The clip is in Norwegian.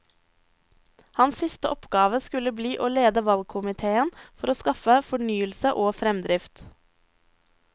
Hans siste oppgave skulle bli å lede valgkomitéen for å skaffe fornyelse og fremdrift.